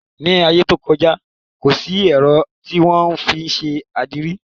Ní aiyé tó kọjá kò sí èrò tí wón fín ṣe adire.